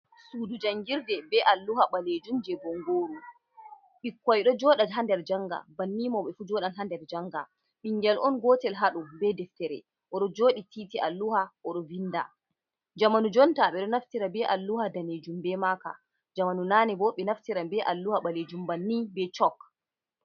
Sudujangirde be alluha ɓalejun je bongoru, ɓikkai do joda hader janga banni mauɓe fu jodan hader janga bingyal on gotel hadu be deftere oru jodi titi alluha orovinda jamanu jonta be do naftira be alluha danejun be maka jamanu nane bo bi naftira be alluha balejum banni be chok.